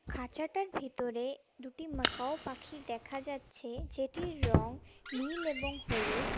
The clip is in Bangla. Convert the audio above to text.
খাঁচাটার ভিতরে দুটি ম্যাকাও পাখি দেখা যাচ্ছে যেটির রং নীল এবং হলুদ।